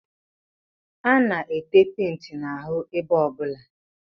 A na-ete penti n'ahụ ebe ọbụla